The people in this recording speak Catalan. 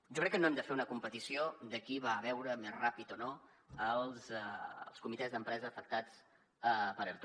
jo crec que no hem de fer una competició de qui va a veure més ràpid o no els comitès d’empresa afectats per erto